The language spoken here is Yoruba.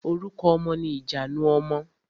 Orúkọ ọmọ ni ìjanu ọmọ.